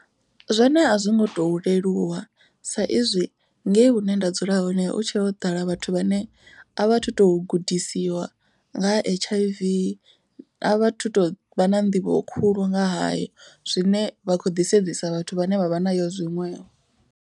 Zwone a zwi ngo to leluwa sa izwi ngei hune nda dzula hone hu tshe ho ḓala vhathu vhane a vha thu to gudisiwa. Nga ha H_I_V a vha thu to vha na nḓivho khulu nga hayo zwine vha kho ḓi sedzisa vhathu vhane vha vha nayo zwiṅwevho.